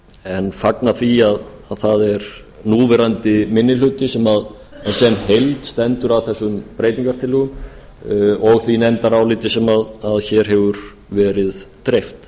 en fagna því að það er núverandi minni hluti sem heild sem stendur að þessum breytingartillögum og því nefndaráliti sem hér hefur veri dreift